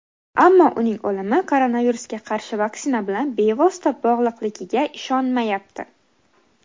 ammo uning o‘limi koronavirusga qarshi vaksina bilan bevosita bog‘liqligiga ishonmayapti.